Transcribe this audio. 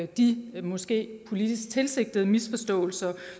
de måske politisk tilsigtede misforståelser